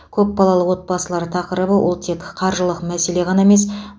көпбалалы отбасылар тақырыбы ол тек қаржылық мәселе ғана емес